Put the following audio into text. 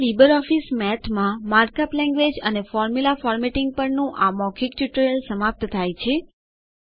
અહીં લીબરઓફીસ મેઠમાં markup language અને ફોર્મુલા ફોર્મેટિંગ પરના આ મૌખિક ટ્યુટોરીયલ સમાપ્ત થાય છે